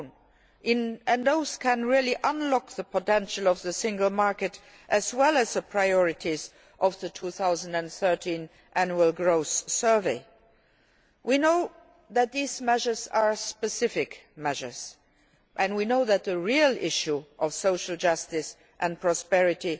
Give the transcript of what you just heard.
2. Those can really unlock the potential of the single market, as well as the priorities of the 2013 Annual Growth Survey. We know that these measures are specific measures, and we know that the real issue of social justice and prosperity